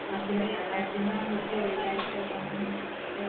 അതിന് അതിനാണ് ആ.